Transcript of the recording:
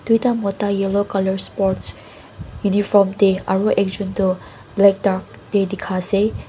tuita mota yellow colour sports uniform te aro ekjun toh black dark te dekai ase.